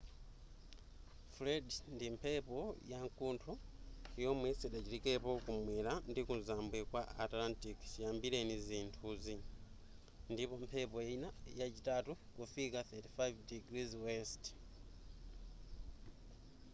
fred ndi mphepo yakuntho yomwe sidachitikepo ku mwera ndi kuzambwe ku atlantic chiyambireni zinthuzi ndipo mphepo yina yachitatu kufika 35◦w